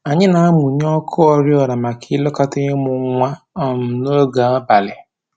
Anyị na-amụnye ọkụ oriọna maka ilekọta ịmụ nwa um n'oge abalị